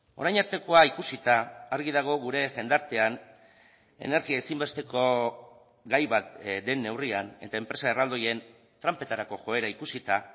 orain artekoa ikusita argi dago gure jendartean energia ezinbesteko gai bat den neurrian eta enpresa erraldoien tranpetarako joera ikusita